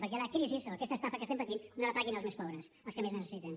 perquè la crisi o aquesta estafa que estem patint no la paguin els més pobres els que més necessiten